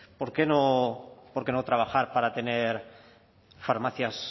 por qué no trabajar para tener farmacias